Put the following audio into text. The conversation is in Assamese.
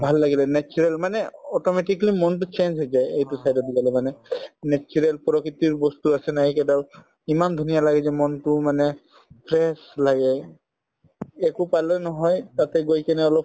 ভাল লাগিলে natural মানে automatically মনতো change হৈ যায় এইটো side ত গলে মানে natural প্ৰকৃতিৰ বস্তু আছে না এই ইমান ধুনীয়া লাগিছে মনতোও মানে fresh লাগে নহয় তাতে গৈ কিনে অলপ